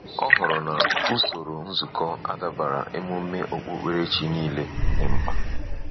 Ọ hụrụ na usoro nzukọ adabara emume okpukperechi niile dị mkpa.